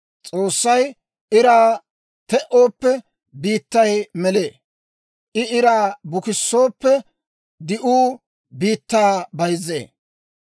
S'oossay iraa te"ooppe, biittay melee; I iraa bukissooppe, di'uu biittaa bayzzee.